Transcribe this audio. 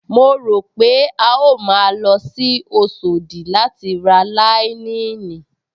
Mo rò pé a ó máa lọ sí Oṣòdì láti ra láíníìnì